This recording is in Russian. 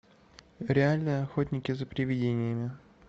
реальные охотники за привидениями